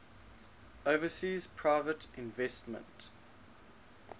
overseas private investment